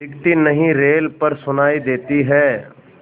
दिखती नहीं रेल पर सुनाई देती है